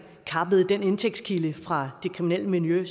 kappede den indtægtskilde fra det kriminelle miljø